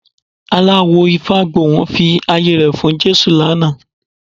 Aláwò Ifágbohùn fi ayé rẹ̀ fún Jésù lánàá